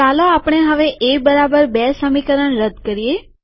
ચાલો આપણે હવે એ બરાબર બી સમીકરણ રદ્દ કરીએ